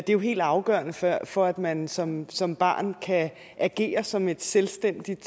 jo helt afgørende for for at man som som barn kan agere som et selvstændigt